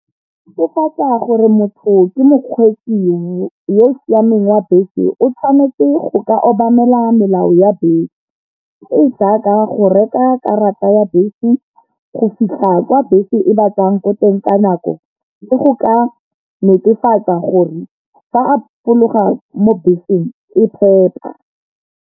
Gore motho ke mokgweetsi yo o siameng wa bese, o tshwanetse go ka obamela melao ya bese, e e jaaka go reka karata ya bese go fitlha kwa bese e ba tsayang ko teng ka nako le go ka netefatsa gore fa a fologa mo beseng e phepa.